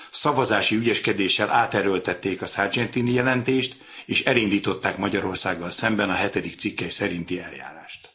Szavazási ügyeskedéssel áterőltették a Sargentini jelentést, és elindították Magyarországgal szemben a hetedik cikk szerinti eljárást.